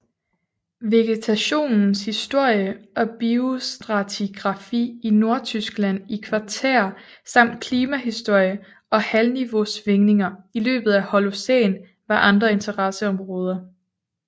Vegetationens historie og biostratigrafi i Nordtyskland i kvartær samt klimahistorie og havniveausvingninger i løbet af Holocæn var andre interesseområder